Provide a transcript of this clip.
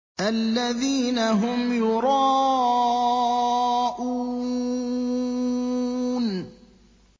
الَّذِينَ هُمْ يُرَاءُونَ